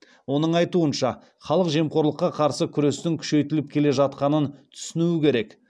оның айтуынша халық жемқорлыққа қарсы күрестің күшейтіліп келе жатқанын түсінуі керек